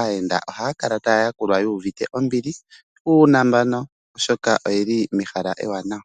aayenda, ohaya yakulwa nombili yuuvite uunambano oshoka oye li mehala ewanawa.